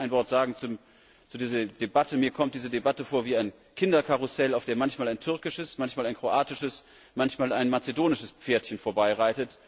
Lassen Sie mich noch ein Wort zu dieser Debatte sagen Mir kommt diese Debatte vor wie ein Kinderkarussell, auf dem manchmal ein türkisches, manchmal ein kroatisches, manchmal ein mazedonisches Pferdchen vorbeifährt.